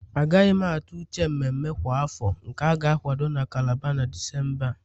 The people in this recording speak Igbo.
Agaghị m atụ uche mmemme mmemme kwa afọ nke a ga-akwado na Calabar na Disemba a